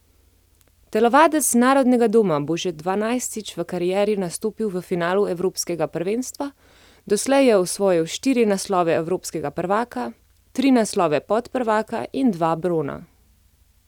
Telovadec Narodnega doma bo še dvanajstič v karieri nastopil v finalu evropskega prvenstva, doslej je osvojil štiri naslove evropskega prvaka, tri naslove podprvaka in dva brona.